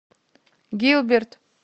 гилберт